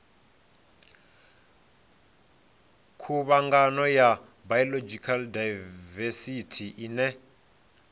khuvhangano ya biological daivesithi ine